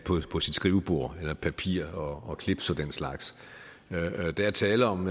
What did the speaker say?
på sit skrivebord eller papir og clips og den slags der er tale om